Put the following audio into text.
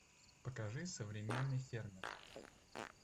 покажи современный фермер